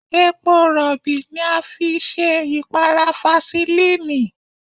Epo Rọ̀bì ni a fi ṣe ìpara fasilínìì.